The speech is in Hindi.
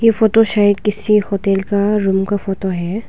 यह फोटो शायद किसी होटल का रूम का फोटो है।